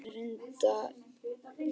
Erindið var að fara á tónleika með sjálfri